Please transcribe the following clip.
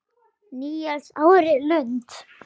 Níels Árni Lund.